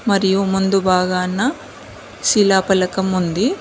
మరియు మందు బాగాన శిలాఫలకం ఉంది.